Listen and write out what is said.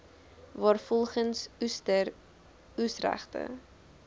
waarvolgens oester oesregte